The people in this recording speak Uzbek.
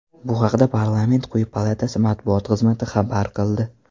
Bu haqda parlament quyi palatasi matbuot xizmati xabar qildi .